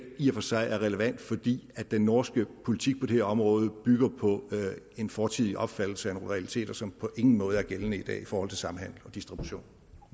i og for sig er relevant fordi den norske politik på det her område bygger på en fortidig opfattelse af nogle realiteter som på ingen måde er gældende i dag i forhold til samhandel og distribution